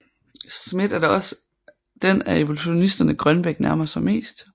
Smith er da også den af evolutionisterne Grønbech nærmer sig mest